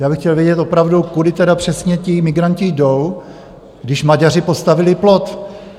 Já bych chtěl vědět opravdu, kudy tedy přesně ti migranti jdou, když Maďaři postavili plot?